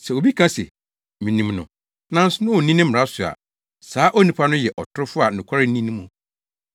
Sɛ obi ka se, “Minim no,” nanso onni ne mmara so a, saa onipa no yɛ ɔtorofo a nokware nni ne mu.